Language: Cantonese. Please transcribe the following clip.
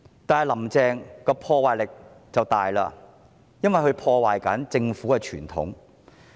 但是，"林鄭"的破壞力很大，因為她正破壞政府的傳統。